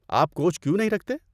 آپ کوچ کیوں نہیں رکھتے؟